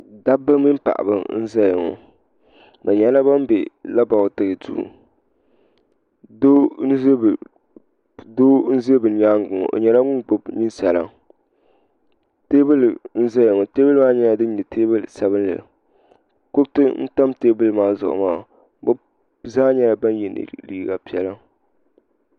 Dabba mini paɣaba n-zaya ŋɔ bɛ nyɛla ban be labɔritiri duu doo n-ʒi bɛ nyaaga ŋɔ o nyɛla ŋun gbubi ninsala teebuli n-zaya ŋɔ teebuli maa nyɛla din nyɛ teebuli sabinli kuriti n-tam teebuli maa zuɣu maa bɛ zaa nyɛla ban ye liiga piɛla.